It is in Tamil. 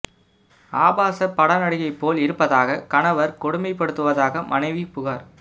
ஆபாச பட நடிகை போல் இருப்பதாக கணவர் கொடுமை படுத்துவதாக மனைவி புகார்